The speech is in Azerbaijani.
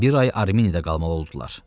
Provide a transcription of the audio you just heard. Bir ay Ermeniyada qalmalı oldular.